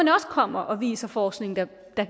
kommer og viser forskningen der